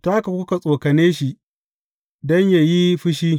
Ta haka kuka tsokane shi don yă yi fushi.